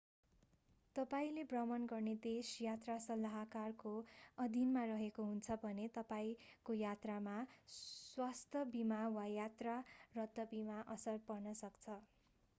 तपाईंले भ्रमण गर्ने देश यात्रा सल्लाहकारको अधीनमा रहेको हुन्छ भने तपाईंको यात्रामा स्वास्थ्य बीमा वा यात्रा रद्द बीमामा असर पर्न सक्छ